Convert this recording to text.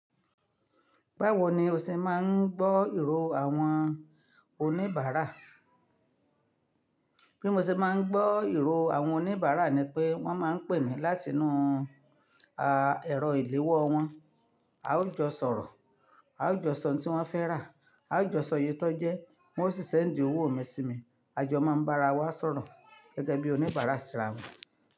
Báwo ni o ṣe máa ń gbọ́ ìró àwọn oníbàárà? Bí mo ṣe máa ń gbọ́ ìró àwọn oníbàárà ni pé wọ́n máa ń pè mí láti inú, à, ẹ̀rọ ìléwọ́ wọn. A ó jọ sọ̀rọ̀, a ó jọ sọ ohun tí wọ́n fẹ́ rà, a ó jọ sọ iyè tọ́ jẹ, wọ́n ó sì seńdi owó mi sí mi. A jọ máa ń bá ara wa sọ̀rọ̀ gẹ́gẹ́ bí oníbàárà síra wọn.